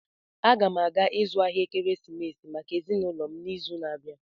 Aga m aga ịzụ ahịa ekeresimesi maka ezinụlọ m n'izu na-abịa.